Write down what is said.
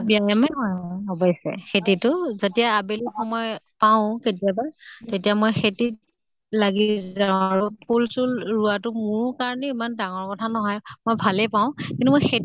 ব্য়ায়ামে হয় অৱশ্য়ে খেতিটো। যেতিয়া আবেলি সময় পাওঁ কেতিয়াবা তেতিয়া মই খেতিত লাগি যাওঁ আৰু ফুল চুল ৰোৱাটো মোৰ কাৰণে ইমান ডাঙৰ কথা নহয়, মই ভাল পাওঁ কিন্ত মই